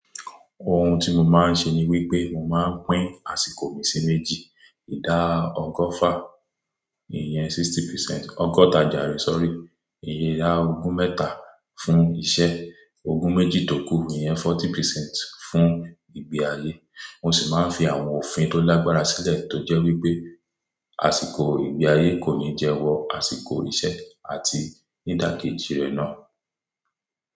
Ohun tí mo máa ń ṣe ni wípé mo máa ń pín àsìkò mi sí méjì. Ìdá ọgọ́fà, ìyẹn sixty percent, ọgọ́ta jàre sorry, ìyẹn ogún mẹ́ta fún iṣẹ́, ogún méjì tókù, ìyẹn fourty percent fún ìgbé ayé. Mo sì máa ń fi àwọn òfin tó lágbára sílẹ̀ tó jẹ́ wípé àsìkò ìgbé ayé kò ní jẹ wọ àsìkò iṣẹ́ àti ní ìdákéjì rẹ̀ náà.